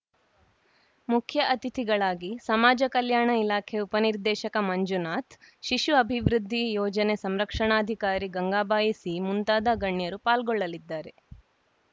ಮುಖ್ಯ ಅತಿಥಿಗಳಾಗಿ ಸಮಾಜ ಕಲ್ಯಾಣ ಇಲಾಖೆ ಉಪನಿರ್ದೇಶಕ ಮಂಜುನಾಥ್‌ ಶಿಶು ಅಭಿವೃದ್ಧಿ ಯೋಜನೆ ಸಂರಕ್ಷಣಾಧಿಕಾರಿ ಗಂಗಾಬಾಯಿ ಸಿ ಮುಂತಾದ ಗಣ್ಯರು ಪಾಲ್ಗೊಳ್ಳಲಿದ್ದಾರೆ